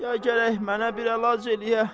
Ya gərək mənə bir əlac eləyə.